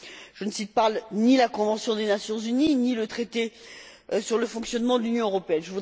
Je ne cite ni la Convention des Nations unies, ni le traité sur le fonctionnement de l'Union européenne